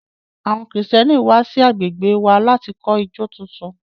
Àwọn Kristẹni kan wà sí agbègbè wa láti kọ́ ìjọ tuntun